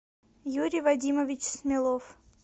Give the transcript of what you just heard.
юрий вадимович смелов